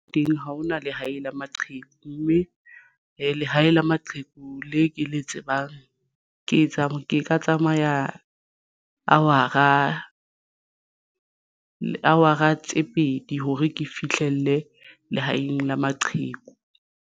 Teng ha hona lehae la maqheku, mme lehae la maqheku le ke le tsebang ke ka tsamaya [?hour-a tse pedi hore ke fihlelle lehaeng la maqheku.